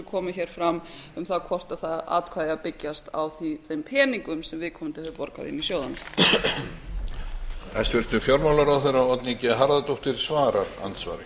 komu hér fram um það hvort það atkvæði eigi að byggjast á þeim peningum sem viðkomandi hefur borgað inn í sjóðina